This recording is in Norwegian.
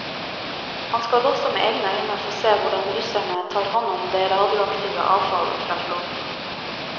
Han skal også med egne øyne få se hvordan russerne tar hånd om det radioaktive avfall fra flåten.